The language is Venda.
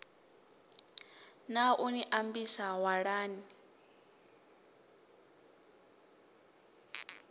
ḽa u ni ambisa walani